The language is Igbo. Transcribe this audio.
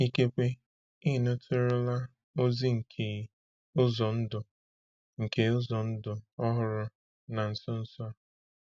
Ikekwe ị nụtụrụla ozi nke ụzọ ndụ nke ụzọ ndụ ọhụrụ na nso nso a.